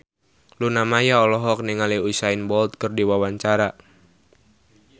Luna Maya olohok ningali Usain Bolt keur diwawancara